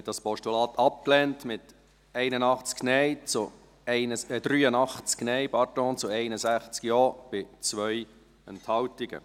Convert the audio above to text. Sie haben dieses Postulat abgelehnt, mit 83 Nein- zu 61 Ja-Stimmen bei 2 Enthaltungen.